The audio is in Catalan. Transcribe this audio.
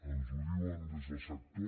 ens ho diuen des del sector